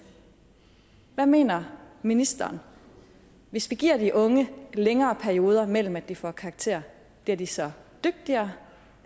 hvad mener ministeren hvis vi giver de unge længere perioder mellem at de får karakterer bliver de så dygtigere